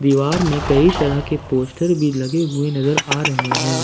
दीवार में कई तरह के पोस्टर भी लगे हुए नजर आ रहे हैं।